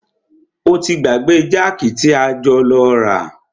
O ti gbàgbé jákì tí a jọ lọ rà.